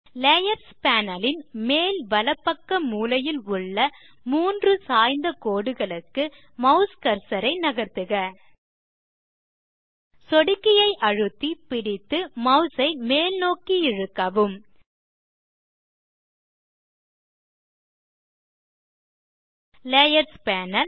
layers panel ன் மேல் வலப்பக்க மூலையில் உள்ள மூன்று சாய்ந்த கோடுகளுக்கு மாஸ் கர்சர் ஐ நகர்த்துக சொடுக்கியை அழுத்தி பிடித்து மாஸ் ஐ மேல்நோக்கி இழுக்கவும் லேயர்ஸ் பேனல்